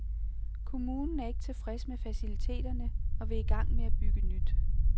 Kommunen er ikke tilfreds med faciliteterne og vil i gang med at bygge nyt.